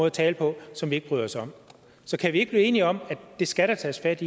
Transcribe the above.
at tale på som vi ikke bryder os om så kan vi ikke blive enige om at det skal der tages fat